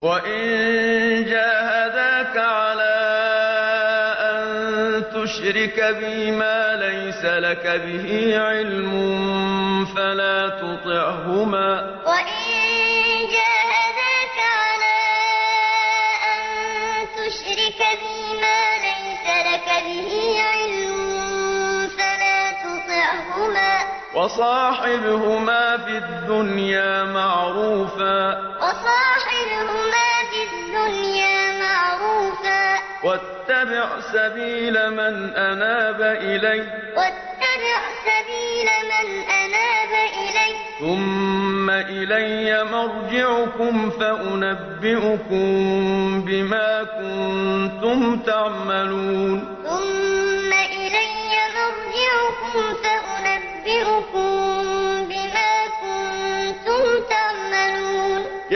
وَإِن جَاهَدَاكَ عَلَىٰ أَن تُشْرِكَ بِي مَا لَيْسَ لَكَ بِهِ عِلْمٌ فَلَا تُطِعْهُمَا ۖ وَصَاحِبْهُمَا فِي الدُّنْيَا مَعْرُوفًا ۖ وَاتَّبِعْ سَبِيلَ مَنْ أَنَابَ إِلَيَّ ۚ ثُمَّ إِلَيَّ مَرْجِعُكُمْ فَأُنَبِّئُكُم بِمَا كُنتُمْ تَعْمَلُونَ وَإِن جَاهَدَاكَ عَلَىٰ أَن تُشْرِكَ بِي مَا لَيْسَ لَكَ بِهِ عِلْمٌ فَلَا تُطِعْهُمَا ۖ وَصَاحِبْهُمَا فِي الدُّنْيَا مَعْرُوفًا ۖ وَاتَّبِعْ سَبِيلَ مَنْ أَنَابَ إِلَيَّ ۚ ثُمَّ إِلَيَّ مَرْجِعُكُمْ فَأُنَبِّئُكُم بِمَا كُنتُمْ تَعْمَلُونَ